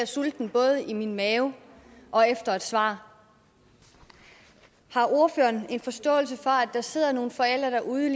sulten både i min mave og efter et svar har ordføreren en forståelse for at der sidder nogle forældre derude